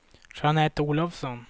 Jeanette Olovsson